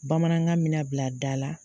Bamanankan mi na bila da la